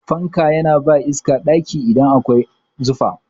Fanka yana ba ɗaki iska idan akwai zufa.